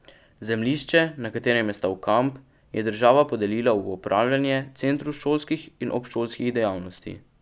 Zemljišče, na katerem je stal kamp, je država podelila v upravljanje Centru šolskih in obšolskih dejavnosti.